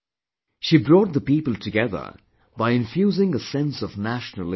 She brought the people together by infusing a sense of nationalawakening